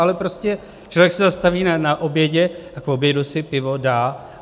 Ale prostě člověk se zastaví na obědě a k obědu si pivo dá.